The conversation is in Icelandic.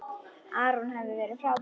Aron hefur verið frábær.